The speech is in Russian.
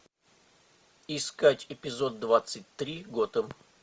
искать эпизод двадцать три готэм